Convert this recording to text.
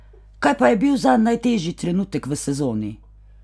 Kaj pa je bil zanj najtežji trenutek v sezoni?